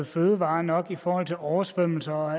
fødevarer nok i forhold til oversvømmelser og